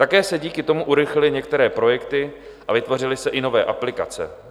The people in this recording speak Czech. Také se díky tomu urychlily některé projekty a vytvořily se i nové aplikace.